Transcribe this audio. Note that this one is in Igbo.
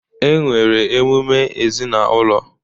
E nwere emume ezinaụlọ